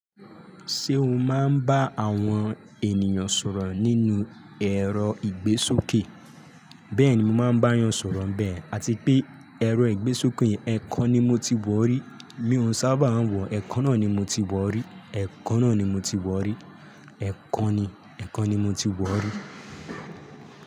Ṣé o máa ń bá àwọn ènìyàn sọ̀rọ̀ nínú ẹ̀rọ ìgbésókè? Bẹ́ẹ̀ ni mo máa ń bá yàn sọ̀rọ̀ bẹ́ẹ̀, àti pé ẹ̀rọ ìgbésókè yìí, ẹ̀kan ni mo ti wọ̀ rí, mi ò sábà wọ̀, ẹ̀kan náà ni mo ti wọ̀ rí, ẹ̀kan náà ni mo ti wọ̀ rí, ẹ̀kan ni, ẹ̀kan ni mo ti wọ̀ rí.